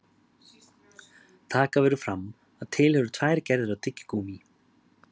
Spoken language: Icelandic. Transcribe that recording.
Taka verður fram að til eru tvær gerðir af tyggigúmmí.